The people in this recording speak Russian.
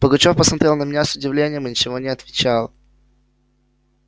пугачёв посмотрел на меня с удивлением и ничего не отвечал